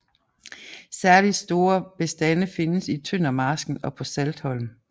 Særligt store bestande findes i Tøndermarsken og på Saltholm